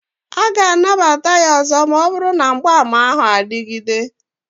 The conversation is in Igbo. A ga-anabata ya ọzọ ma ọ bụrụ na mgbaàmà ahụ adịgide